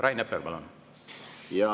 Rain Epler, palun!